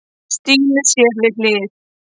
Stínu sér við hlið.